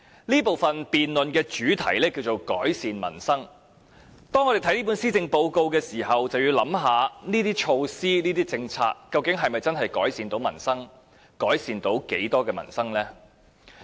這部分的辯論主題是："改善民生"，當我們看這份施政報告時，要考慮這些措施及政策究竟是否真的能夠改善民生，以及能夠在多大程度上改善民生。